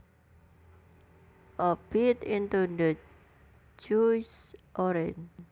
I bit into the juicy orange